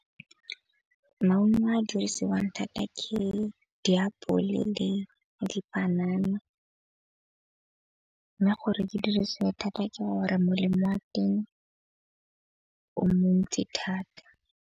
Maungo a dirisiwang thata ke diapole le dipanana. Nna gore ke dirise thata ke gore molemo wa teng o montsi thata.